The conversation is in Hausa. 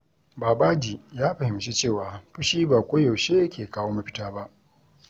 Babaji ya fahimci cewa fushi ba koyaushe ke kawo mafita ba.